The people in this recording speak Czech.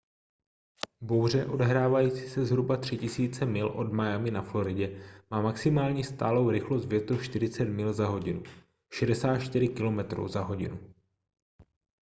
bouře odehrávající se zhruba 3 000 mil od miami na floridě má maximální stálou rychlost větru 40 mil/h 64 km/h